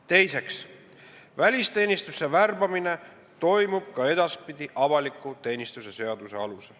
Teiseks, välisteenistusse värbamine toimub ka edaspidi avaliku teenistuse seaduse alusel.